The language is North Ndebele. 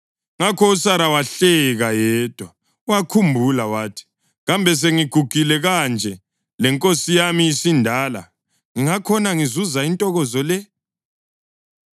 Ngakho uSara wahleka yedwa, wakhumbula wathi, “Kambe sengigugile kanje lenkosi yami isindala, ngingakhona ngizuza intokozo le?”